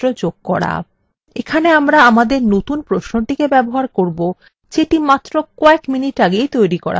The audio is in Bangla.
এখানে আমরা আমাদের নতুন প্রশ্নটিকে ব্যবহার করবো যেটি মাত্র কয়েক minutes ago তৈরী করা হয়েছে